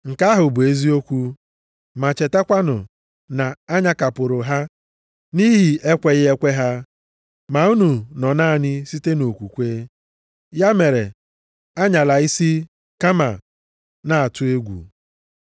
Nke ahụ bụ eziokwu. Ma chetakwanụ na a nyakapụrụ ha nʼihi ekweghị ekwe ha, ma unu nọ naanị site nʼokwukwe. Ya mere anyala isi, kama na-atụ egwu.